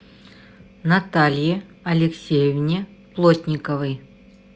наталье алексеевне плотниковой